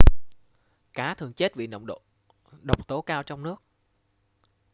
cá thường chết vì nồng độ độc tố cao trong nước